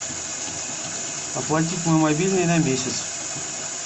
оплатить мой мобильный на месяц